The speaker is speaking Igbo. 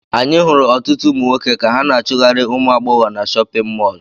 Anyị hụrụ ọtụtụ ụmụ nwoke ka ha na-achụgharị ụmụ agbọghọ na chọpịn mọọlụ.